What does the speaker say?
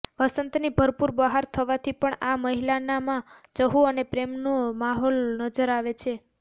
વંસતની ભરપુર બહાર થવાથી પણ આ મહિનામાં ચહુ અને પ્રેમ નો માહોલ નજર આવે છે